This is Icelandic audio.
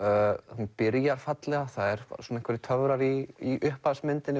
hún byrjar fallega það eru einhverjir töfrar í